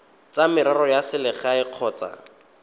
tsa merero ya selegae kgotsa